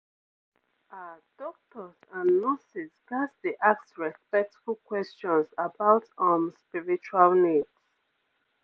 ah doctors and nurses ghats dey ask respectful questions about um spiritual needs